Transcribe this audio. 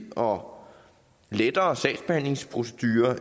og lettere sagsbehandlingsprocedure